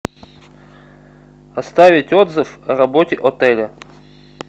оставить отзыв о работе отеля